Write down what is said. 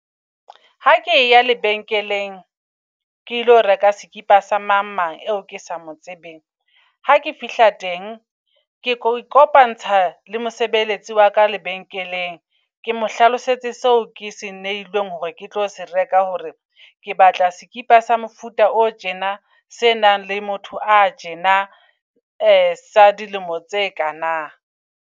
Ha ke ya lebenkeleng kelo reka skipa sa mang mang eo ke sa mo tsebeng. Ha ke fihla teng ke ko kopantsha le mosebeletsi wa ka lebenkeleng. Ke mo hlalosetse seo ke se neilweng hore ke tlo se reka, hore ke batla sekipa sa mofuta o tjena. Se nang le motho a tjena sa dilemo tse kana.